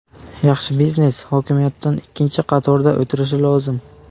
Yaxshi biznes hokimiyatdan ikkinchi qatorda o‘tirishi lozim.